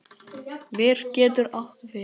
Ver getur átt við